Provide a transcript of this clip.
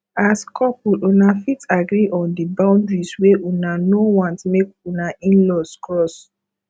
as couple una fit agree on di boundaries wey una no want make una inlaws cross